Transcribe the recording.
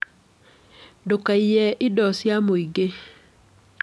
Ndũkaiye indo cia mũingĩ.